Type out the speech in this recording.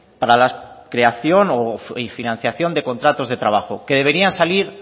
para la creación y financiación de contratos de trabajo que deberían salir